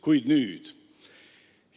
Kuid nüüd?